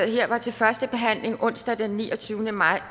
her var til første behandling onsdag den niogtyvende maj